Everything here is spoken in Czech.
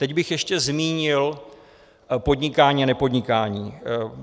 Teď bych ještě zmínil podnikání a nepodnikání.